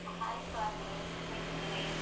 Hai Swati, ಹೇಗಿದ್ದೀರಿ?